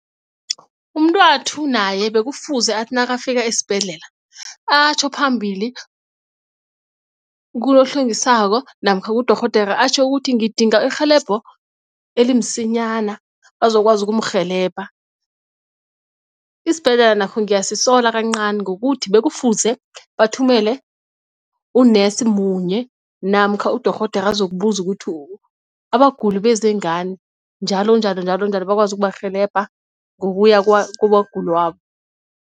Umntathu naye bekufuze athi nakafika esibhedlela atjho phambili kulo ohlwengisako namkha kudorhodera atjho ukuthi ngidinga irhelebho elimsinyana bazokwazi ukumrhelebha. Isibhedlela nakho ngiyasisola kancani ngokuthi bekufuze bathumele unesi munye namkha udorhodera azokubuza ukuthi abaguli beze ngani njalonjalo njalonjalo bakwazi ukubarhelebha ngokuya kwabaguli wabo.